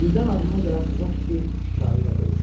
Birdən ağlına gələn təzə fikri şikarı ilə bölüşdü.